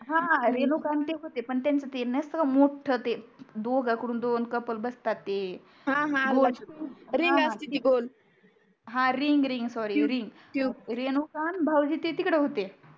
हा रेणुका आणि ते होते पण त्यांचे ते नसतो का मोठ ते दोघा कडून दोन कपल्स बसतात ते हा हा गोल रिंग असते ते गोल हा ring ring sorry tube Renuka आणि भाऊजी तिकडे होते